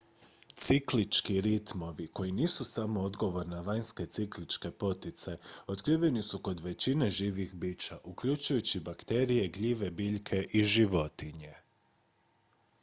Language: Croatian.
ciklički ritmovi koji nisu samo odgovor na vanjske cikličke poticaje otkriveni su kod većine živih bića uključujući bakterije gljive biljke i životinje